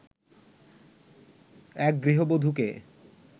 এক গৃহবধূকে